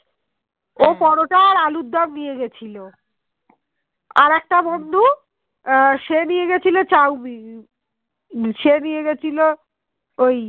সে নিয়ে গেছিলো ওই